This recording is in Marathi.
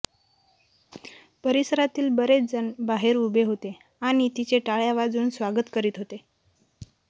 परिसरातील बरेच जण बाहेर उभे होते आणि तिचे टाळ्या वाजवून स्वागत करीत होते